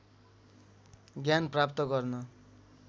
ज्ञान प्राप्त गर्न